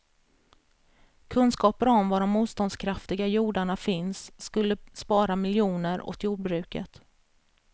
Kunskaper om var de motståndskraftiga jordarna finns skulle spara miljoner åt jordbruket.